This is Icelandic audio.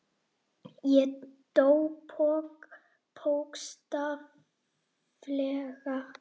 Ég dó, bókstaflega.